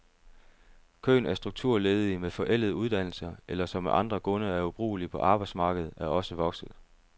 Køen af strukturledige med forældede uddannelser, eller som af andre grunde er ubrugelige på arbejdsmarkedet, er også vokset.